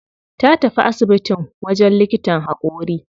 Ta tafi asibitin wajen likitan haƙori.